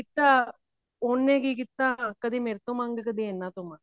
ਤਾਂ ਉਹਨੇ ਕੀ ਕੀਤਾ ਕਦੇ ਮੇਰੇ ਤੋਂ ਮੰਗ ਕਦੀ ਇਹਨਾ ਤੋਂ ਮੰਗ